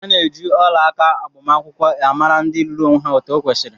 Ana eji ọlaaka agbamakwụkwọ amara ndị lụrụ onwé há etu okwesiri.